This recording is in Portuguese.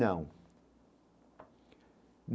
Não.